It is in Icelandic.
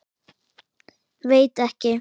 Veit ekki.